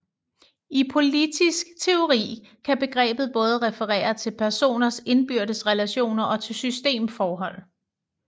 I politisk teori kan begrebet både referere til personers indbyrdes relationer og til systemforhold